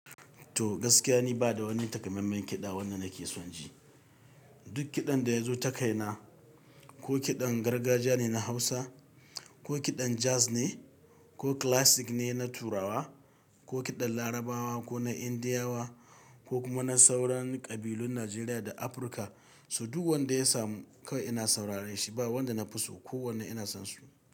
To gaskiya ni bada wani takamaiman kiɗa wanda nake son ji. Duk kiɗan da ya zo takai na, ko kiɗan gargajiya ne na Hausa, ko kiɗan jazz ne, ko classic ne na Turawa, ko kiɗan Larabawa ko na Indiyawa ko kuma na sauran ƙabilun Najeriya da Afirka, su duk wanda ya samu kawai ina saurare shi ba wanda na fi so ko wane ina son su.